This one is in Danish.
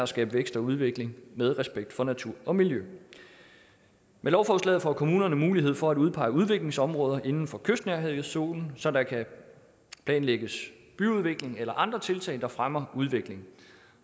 skabe vækst og udvikling med respekt for natur og miljø med lovforslaget får kommunerne mulighed for at udpege udviklingsområder inden for kystnærhedszonen så der kan planlægges byudvikling eller andre tiltag der fremmer udviklingen